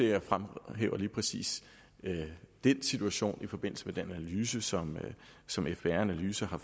jeg fremhæver lige præcis den situation i forbindelse med den analyse som som fbr analyse har